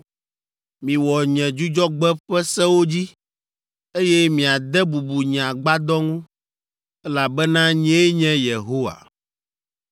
“ ‘Miwɔ nye Dzudzɔgbe ƒe sewo dzi, eye miade bubu nye Agbadɔ ŋu, elabena nyee nye Yehowa.